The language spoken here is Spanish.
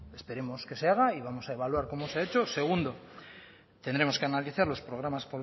esperemos que se haga y vamos a evaluar cómo se ha hecho segundo tendremos que analizar los programas